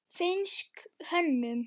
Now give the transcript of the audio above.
Finnsk hönnun.